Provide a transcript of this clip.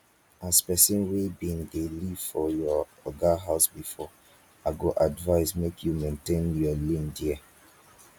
as person wey bin dey live for your oga house before i go advise make you maintain your lane there